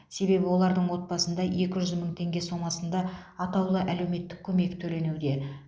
себебі олардың отбасына екі жүз мың теңге сомасында атаулы әлеуметтік көмек төленуде